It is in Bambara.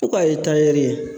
I ko a ye tayɛri ye.